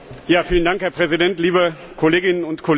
Herr Präsident, liebe Kolleginnen und Kollegen!